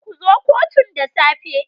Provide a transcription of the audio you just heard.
Ku zo kotun da safe.